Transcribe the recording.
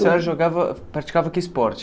A senhora jogava, praticava que esporte?